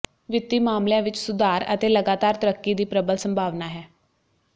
ਵਿੱਤੀ ਮਾਮਲੀਆਂ ਵਿੱਚ ਸੁਧਾਰ ਅਤੇ ਲਗਾਤਾਰ ਤਰੱਕੀ ਦੀ ਪ੍ਰਬਲ ਸੰਭਾਵਨਾ ਹੈ